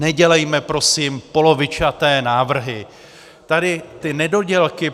Nedělejme prosím polovičaté návrhy, tady ty nedodělky.